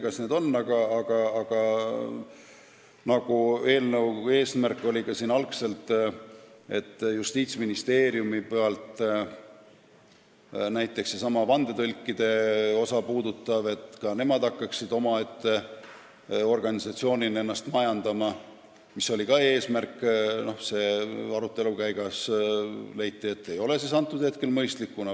Justiitsministeeriumi eesmärk oli algselt, et ka vandetõlgid hakkaksid omaette organisatsioonina ennast majandama, aga arutelu käigus leiti, et see ei ole praegu mõistlik.